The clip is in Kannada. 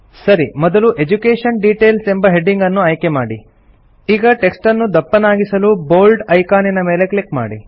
ಸರಿ ಮೊದಲು ಎಡ್ಯುಕೇಷನ್ ಡಿಟೇಲ್ಸ್ ಎಂಬ ಹೆಡಿಂಗ್ ಅನ್ನು ಆಯ್ಕೆಮಾಡಿ ಈಗ ಟೆಕ್ಸ್ಟ್ ಅನ್ನು ದಪ್ಪನಾಗಿಸಲು ಬೋಲ್ಡ್ ಐಕಾನಿನ ಮೇಲೆ ಕ್ಲಿಕ್ ಮಾಡಿ